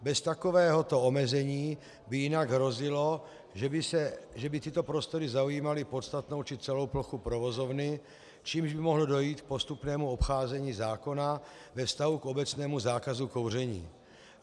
Bez takovéhoto omezení by jinak hrozilo, že by tyto prostory zaujímaly podstatnou či celou plochu provozovny, čímž by mohlo dojít k postupnému obcházení zákona ve vztahu k obecnému zákazu kouření.